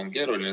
a kell 12.